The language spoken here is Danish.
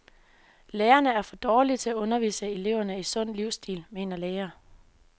Lærerne er for dårlige til at undervise eleverne i sund livsstil, mener læger.